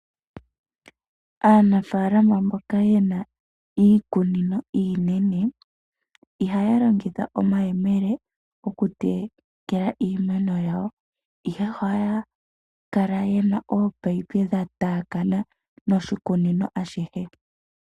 Aanafaalama mboka yena iikunino iinene ihaya longitha omayemele oku tekela iimeno yawo, ihe ohaya kala yena oopayipi dha taakana moshikunino ashihe.